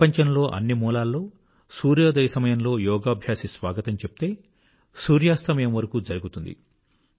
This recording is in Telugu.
ప్రపంచంలో అన్ని మూలల్లో సూర్యోదయ సమయంలో యోగాభ్యాసి స్వాగతం చెప్తే సూర్యాస్తమయం వరకూ జరుగుతుంది